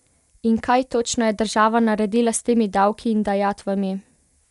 In kaj točno je država naredila s temi davki in dajatvami?